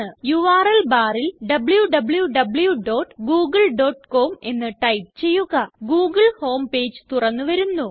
URL barല് wwwgooglecom എന്ന് type ചെയ്യുക ഗൂഗിൾ ഹോം പേജ് തുറന്നു വരുന്നു